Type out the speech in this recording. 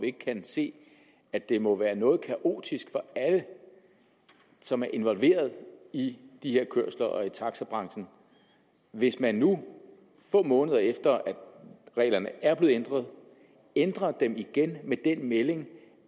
ikke kan se at det må være noget kaotisk for alle som er involveret i de her kørsler og i taxabranchen hvis man nu få måneder efter at reglerne er blevet ændret ændrer dem igen med den melding